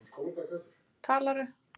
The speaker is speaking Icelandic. Var hann með öllu óbundinn.